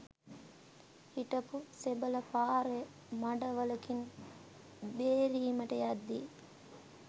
හිටපු සෙබළා පාරේ මඩ වළකින් බේරීමට යද්දී